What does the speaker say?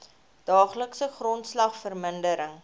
daaglikse grondslag verminder